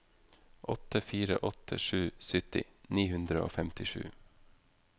åtte fire åtte sju sytti ni hundre og femtisju